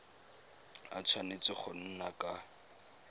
a tshwanetse go nna ka